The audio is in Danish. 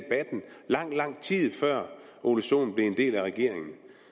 lang lang tid før herre ole sohn blev en del af regeringen